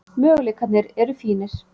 Möguleikarnir eru fínir.